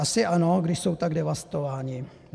Asi ano, když jsou tak devastováni.